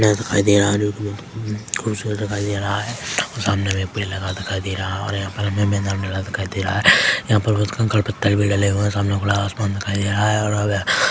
नल दिखाई दे रहा जो की बहुत खूबसूरत दिखाई दे रहा है सामने हमें पेड़ लगा दिखाई दे रहा है और यहाँ पे हमें मैदान डला दिखाई दे रहा है यहाँ पर कंकड़ पत्थर भी डेल हुए है और सामने खुला आसमान दिखाई दे रहा है --